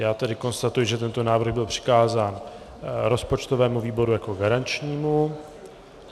Já tedy konstatuji, že tento návrh byl přikázán rozpočtovému výboru jako garančnímu.